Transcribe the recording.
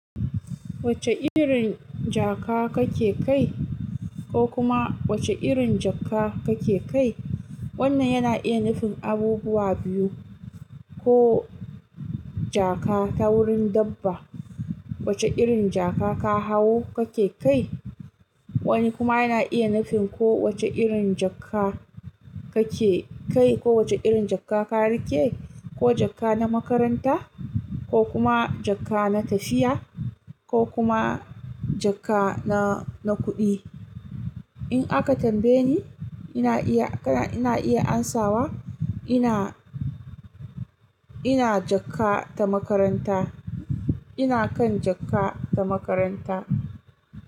Wacce irin jaka kake kai? Ko kuma wace irin jaka kake kai? Wannan yana iya nufin abubuwa biyu ko jaka ta wurin dabba. Wace irin jaka ka hau kake kai? Wani kuma yana iya nufin ko wace irin jaka kake kai ko wacce irin jaka ka rike? Ko jaka na makaranta, ko kuma jaka na tafiya, ko kuma jaka na, na kuɗi. In aka tambaye ni, ina iya, ina iya ansawa ina, ina jaka ta makaranta. Ina kan jaka ta makaranta.